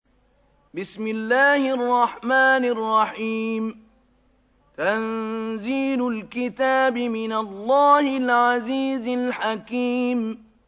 تَنزِيلُ الْكِتَابِ مِنَ اللَّهِ الْعَزِيزِ الْحَكِيمِ